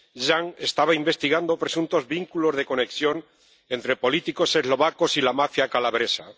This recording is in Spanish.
Ján estaba investigando presuntos vínculos de conexión entre políticos eslovacos y la mafia calabresa.